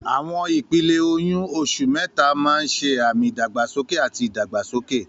Àwọn ìpele oyún: oṣù mẹ́ta máa ń ṣe àmì ìdàgbàsókè àti ìdàgbàsókè.